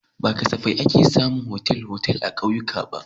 Ba safai akan samu otal-otal a ƙauyuka ba.